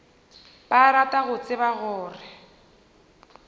ba rata go tseba gore